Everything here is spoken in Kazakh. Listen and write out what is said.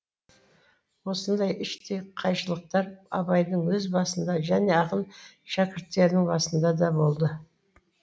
осындай іштей қайшылықтар абайдың өз басында және ақын шәкірттерінің басында да болды